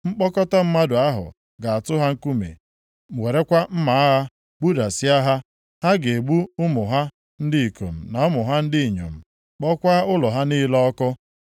Mkpọkọta mmadụ ahụ ga-atụ ha nkume, werekwa mma agha gbudasịa ha. Ha ga-egbu ụmụ ha ndị ikom na ụmụ ha ndị inyom, kpọkwaa ụlọ ha niile ọkụ.